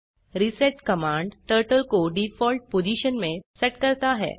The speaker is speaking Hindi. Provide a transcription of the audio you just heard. रिसेट कमांड टर्टल को डिफॉल्ट पोजिशन में सेट करता है